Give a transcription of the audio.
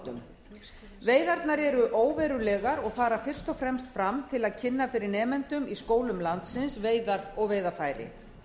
skólabátum veiðarnar eru óverulegar og fara fyrst og fremst fram til að kynna fyrir nemendum í skólum landsins veiðar og veiðarfæri